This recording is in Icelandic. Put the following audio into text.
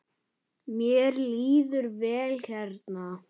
Mér líður vel hérna.